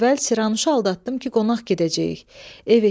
Bir gün əvvəl Siranuşu aldatdım ki, qonaq gedəcəyik.